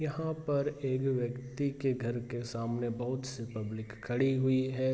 यहाँ पे एक व्यक्ति के घर के सामने बहुत से पब्लिक खड़ी हुई हैं।